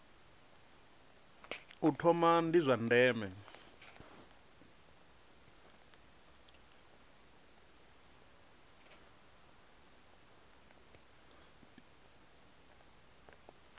u thoma ndi zwa ndeme